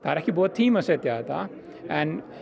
er ekki búið að tímasetja þetta en